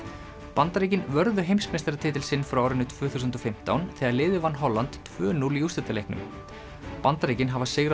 Bandaríkin vörðu heimsmeistaratitil sinn frá árinu tvö þúsund og fimmtán þegar liðið vann Holland tvö núll í úrslitaleiknum Bandaríkin hafa sigrað